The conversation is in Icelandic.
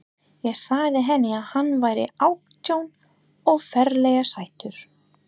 Ég sagði henni að hann væri átján og ferlega sætur.